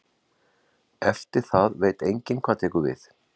Eftir það veit enginn hvað tekur við.